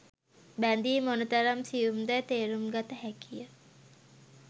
බැදීම් මොනතරම් සියුම් දැයි තේරුම් ගත හැකිය.